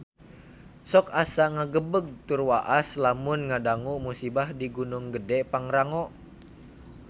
Sok asa ngagebeg tur waas lamun ngadangu musibah di Gunung Gedhe Pangrango